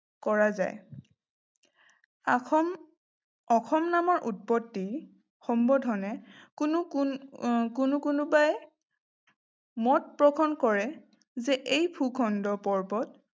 কৰা যায়। আখম অসম নামৰ উৎপত্তি সম্বোধনে কোনোবাই মত পোষণ কৰে যে এই ভূখণ্ড পৰ্বত